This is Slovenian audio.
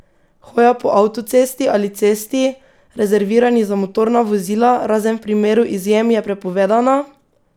Hoja po avtocesti ali cesti, rezervirani za motorna vozila, razen v primeru izjem je prepovedana!